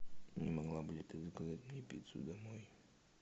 не могла бы ли ты заказать мне пиццу домой